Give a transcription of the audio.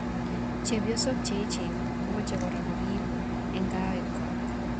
Chepiosok che echen ko meche kora korip ing kawek kwak.